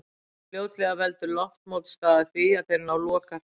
Fljótlega veldur loftmótstaða því að þeir ná lokahraða.